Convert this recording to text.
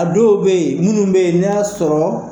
A dɔw bɛ yen munnu bɛ yen n' y'a sɔrɔ.